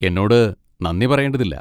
എന്നോട് നന്ദി പറയേണ്ടതില്ല.